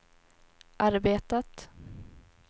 arbetat